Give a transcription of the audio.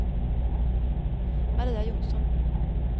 Maria Johnsson